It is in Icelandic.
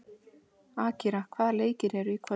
Akira, hvaða leikir eru í kvöld?